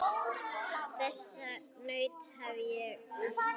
Þess naut ég af hjarta.